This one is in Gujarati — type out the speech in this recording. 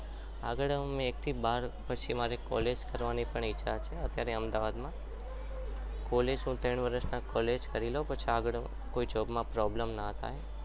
આગળ મારે એક થી બાર પછી college કરવાની ઈચ્છા છે અત્યારે અમદાવાદ માં college હું ત્રણ વર્ષ college કરી લેવું કે જેથી કોઈ job માં કોઈ problem ના થાય.